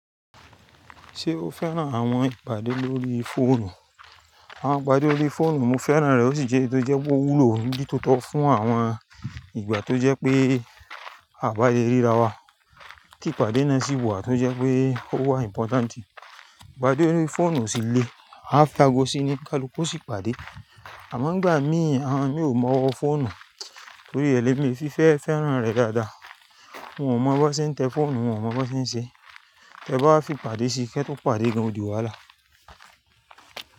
Ṣé o fẹ́ràn àwọn ìpàdé lórí fóònù? Àwọn ìpàdé órí fóònù mo fẹ́ràn rẹ̀ ó sì jẹ́ ètò jẹ́ gó wúlò ní tótó fún àwọn ìgbà tó jẹ́ pé a bá le ríra wa. Kí ìpàdé náà sì wà tó jẹ́ pé ó wà important. Ìpàdé órí fóònù sì le, a fẹ́ ágo sí ní kálú ku o sì pàdé. Àmọ́ ńgbà mí àwọn mi ò mọ ọ fóònù torí ẹlẹ́mi fi fẹ́ fẹ́ràn rẹ̀ dáadáa. Wọn ò mọ bó ṣe ń tẹ́ fóònù, wọ́n ò mọ bó ṣe ń ṣe. Ẹ bá wá fi pàdé sí i, kí ẹ tó pàdé gan di wàhálà.